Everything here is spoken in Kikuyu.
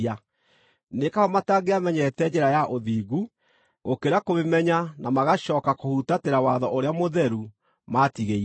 Nĩ kaba matangĩamenyete njĩra ya ũthingu, gũkĩra kũmĩmenya na magacooka kũhutatĩra watho ũrĩa mũtheru maatigĩirwo.